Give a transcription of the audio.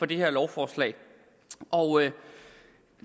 det her lovforslag og